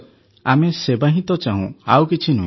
ଆମେ ସେବା ହିଁ ତ ଚାହୁଁ ଆଉ କିଛି ନୁହେଁ